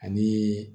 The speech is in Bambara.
Ani